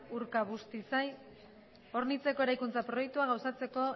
urkabustaiz hornitzeko eraikuntza proiektua gauzatzeko